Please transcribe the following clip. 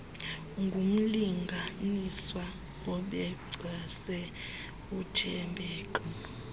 ngumlinganiswa obencwase uthembeka